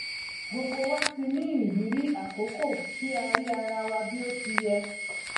gbogbo wa ti ní ìrírí àkókò tí a rí ara wa bí ó ti yẹ